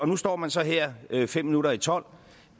nu står man så her fem minutter i tolv